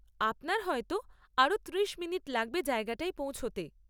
আপনার হয়তো আরও ত্রিশ মিনিট লাগবে জায়গাটায় পৌঁছতে।